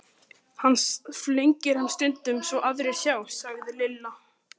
Hann flengir hann stundum svo aðrir sjá, sagði Lilla.